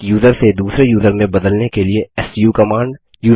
एक यूज़र से दूसरे यूज़र में बदलने के लिए सू कमांड